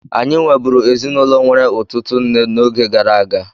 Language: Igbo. Anyị nweburu ezinụlọ nwere ụtụtụ nne n'oge gara aga.